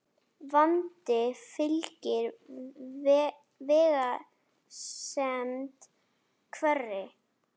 Vandi fylgir vegsemd hverri.